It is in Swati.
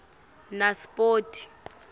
naspoti